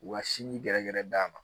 U ka sin gɛrɛ gɛrɛ d'a ma